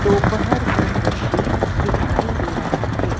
दोपहर का दृश्य दिखाई दे रहा है।